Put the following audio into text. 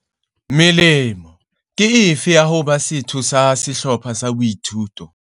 Melemo ke efe ya ho ba setho sa sehlopha sa boithuto?